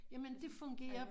Jamen det fungerer